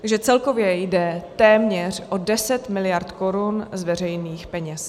Takže celkově jde téměř o 10 miliard korun z veřejných peněz.